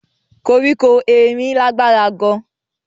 Koriko erin lagbara gaan.